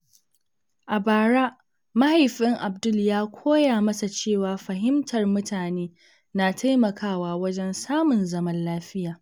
A bara, Mahaifin Abdul ya koya masa cewa fahimtar mutane na taimakawa wajen samun zaman lafiya.